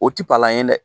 O ti palan ye dɛ